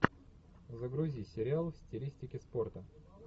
загрузи сериал в стилистике спорта